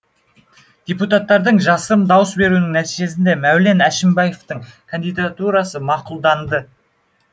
депутаттардың жасырын дауыс беруінің нәтижесінде мәулен әшімбаевтың кандидатурасы мақұлданды